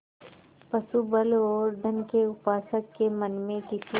पशुबल और धन के उपासक के मन में किसी